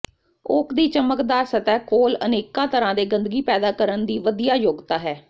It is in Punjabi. ਓਕ ਦੀ ਚਮਕਦਾਰ ਸਤਹ ਕੋਲ ਅਨੇਕਾਂ ਤਰ੍ਹਾਂ ਦੇ ਗੰਦਗੀ ਪੈਦਾ ਕਰਨ ਦੀ ਵਧੀਆ ਯੋਗਤਾ ਹੈ